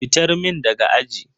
Fitar min daga aji.